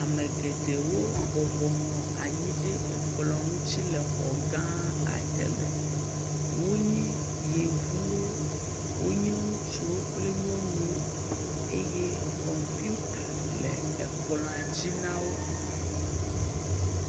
Ame geɖewo bɔbɔ nɔ anyi ɖe ekplɔ ŋuti le xɔ gã aɖe me. Wonye yevuwo, wonye ŋutsuwo kple nyɔnuwo eye kɔmputa le ekplɔa dzi na wo.